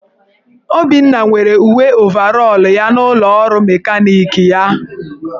Obinna nwere uwe ovarọl ya n'ụlọọrụ mekaniki ya.